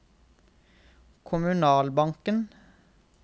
kommunalbanken